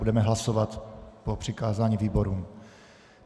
Budeme hlasovat po přikázání výborům.